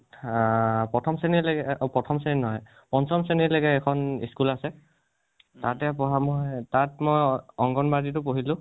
আ প্ৰথম শ্ৰেণী লৈকে অ প্ৰথম শ্ৰেণী নহয়। পঞ্চম শ্ৰেণীলৈকে এখন school আছে, তাতে পঢ়া মই । তাতে পঢ়া মই তাত মই অংগণবাদি টো পঢ়িলোঁ।